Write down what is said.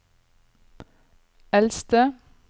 eldste